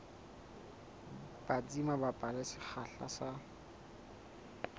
batsi mabapi le sekgahla sa